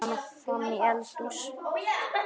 Eltir hana fram í eldhús.